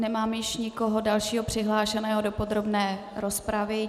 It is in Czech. Nemám již nikoho dalšího přihlášeného do podrobné rozpravy.